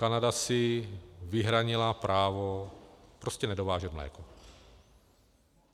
Kanada si vyhradila právo prostě nedovážet mléko.